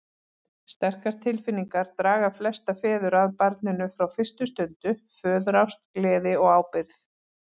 Sterkar tilfinningar draga flesta feður að barninu frá fyrstu stundu, föðurást, gleði og ábyrgð.